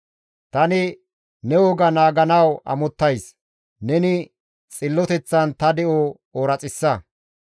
Tani ne woga naaganawu amottays; neni xilloteththan ta de7o ooraxissa.